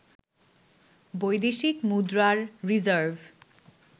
বৈদেশিক মুদ্রার রিজার্ভ